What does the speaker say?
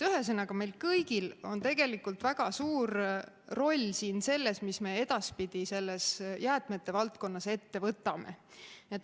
Ühesõnaga, meil kõigil on tegelikult väga suur roll siin selles, mida me edaspidi selles jäätmete valdkonnas ette võtame.